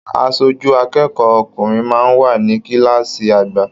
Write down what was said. Aṣojú akẹ́kọ̀ọ́ ọkùnrin máa n wà ní kilaasi àgbà.